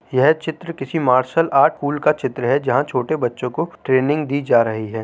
यह चित्र किसी मार्शल आर्ट स्कूल का चित्र है जहाँ छोटे बचे को ट्रेनिंग दी जा रही है।